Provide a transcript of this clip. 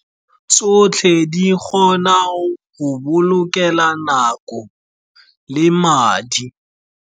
Tsotlhe di kgona go go bolokela nako le madi.